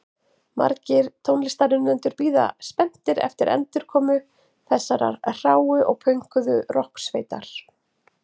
Margir tónlistarunnendur bíða spenntir eftir endurkomu þessarar hráu og pönkuðu rokksveitar.